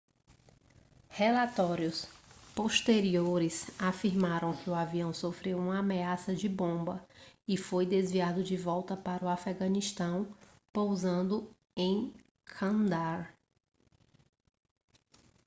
relatórios posteriores afirmaram que o avião sofreu uma ameaça de bomba e foi desviado de volta para o afeganistão pousando em candaar